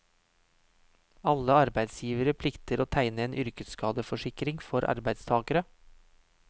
Alle arbeidsgivere plikter å tegne en yrkesskadeforsikring for arbeidstagere.